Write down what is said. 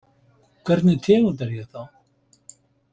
Hvernig tegund er ég þá?